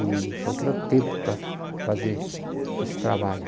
E então, eu queria o tempo para fazer esse trabalho.